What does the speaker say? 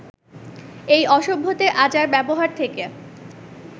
এই অসভ্যদের আচার-ব্যবহার থেকে